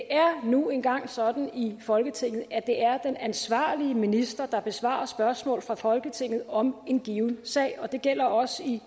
er nu engang sådan i folketinget at det er den ansvarlige minister der besvarer spørgsmål fra folketinget om en given sag og det gælder også i